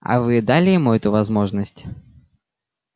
а вы дали ему эту возможность